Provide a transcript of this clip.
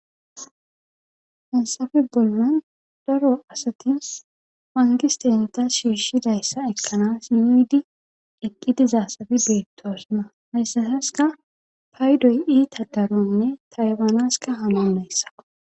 Haysafe bollon daro asatis pangistenta shiishshidayssa ekkanas yuyudi eqqidi zaasabi beettoosna hayssataska paydoy ita daronne taywaanaska hama mayssa.